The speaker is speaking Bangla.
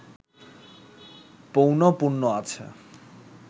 পৌনঃপুন্য আছে